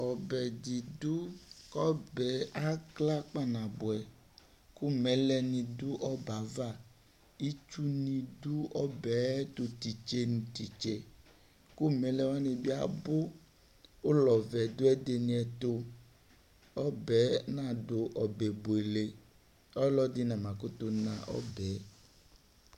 Ɔbɛ didu kɔbɛ akla kpanabuɛ ku mɛlɛ nidu ɔbɛava Itsu nidu ɔbɛ tutitse nitse Ku mɛlɛ wani biabu kulɔvɛ nidu ɛdinitu Ɔbɛ nadu ɔbɛ buele Ɔlɔdi namakutu na ɔbɛ